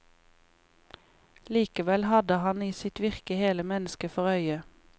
Likevel hadde han i sitt virke hele mennesket for øye.